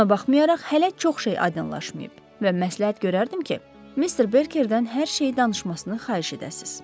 Buna baxmayaraq, hələ çox şey aydınlaşmayıb və məsləhət görərdim ki, Mister Berkerdən hər şeyi danışmasını xahiş edəsiz.